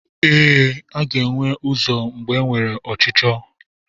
Ee, a ga-enwe ụzọ mgbe enwere ọchịchọ.